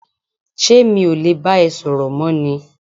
ṣé mi ò le bá ẹ sọ̀rọ̀ mọ́ ni?